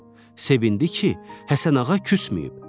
Sevindi ki, Həsənağa küsməyib.